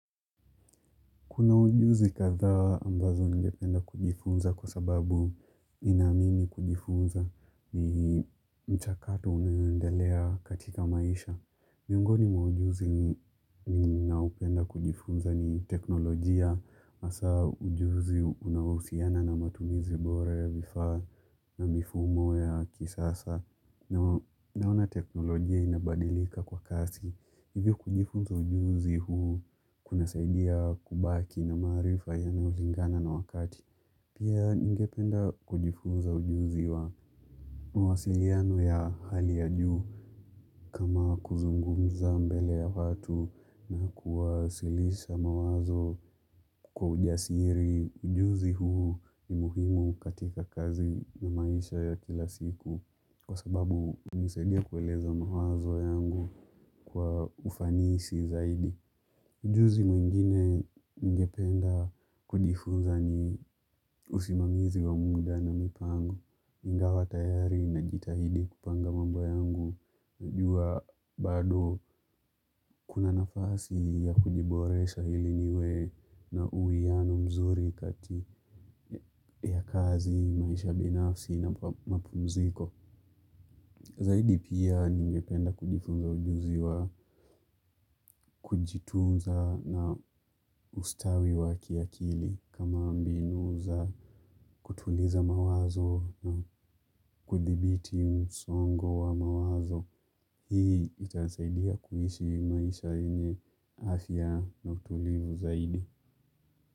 Kuna ujuzi kadhaa ambazo ningependa kujifunza kwa sababu ninaamini kujifunza ni mchakato unaoendelea katika maisha. Miongoni mwa ujuzi ninaupenda kujifunza ni teknolojia. Hasaa ujuzi unaohusiana na matumizi bora ya vifaa na mifumo ya kisasa. Naona teknolojia inabadilika kwa kasi. Hivyo kujifunza ujuzi huu kunasaidia kubaki na maarifa yenye inalingana na wakati. Pia ningependa kujifunza ujuzi wa mawasiliano ya hali ya juu kama kuzungumza mbele ya watu na kuwasilisha mawazo kwa ujasiri. Ujuzi huu ni muhimu katika kazi na maisha ya kila siku kwa sababu hunisaidia kueleza mawazo yangu kwa ufanisi zaidi. Ujuzi mwingine ningependa kujifunza ni usimamizi wa muda na mipango, ingawa tayari najitahidi kupanga mambo yangu. Najua bado kuna nafasi ya kujiboresha hili niwe na uianu mzuri kati ya kazi, maisha binafsi na mapumziko. Zaidi pia ningependa kujifunza ujuzi wa kujitunza na ustawi wa kiakili kama mbinu za kutuliza mawazo na kudhibiti msongo wa mawazo. Hii itasaidia kuishi maisha yenye afya na utulivu zaidi.